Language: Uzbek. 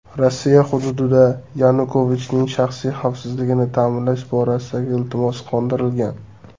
Rossiya hududida Yanukovichning shaxsiy xavfsizligini ta’minlash borasidagi iltimosi qondirilgan.